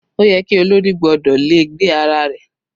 Ó yẹ ki olórí gbọ́dọ̀ le gbé ara rẹ̀.